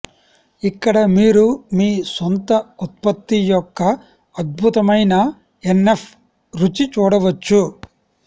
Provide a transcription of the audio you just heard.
ఇక్కడ మీరు మీ సొంత ఉత్పత్తి యొక్క అద్భుతమైన ఎన్ఎఫ్ రుచి చూడవచ్చు